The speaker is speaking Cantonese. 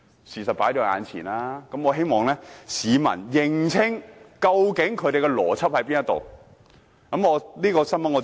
事實已放在眼前，我希望市民認清，究竟他們的邏輯是甚麼。